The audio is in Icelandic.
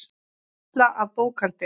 Fulla af bókhaldi.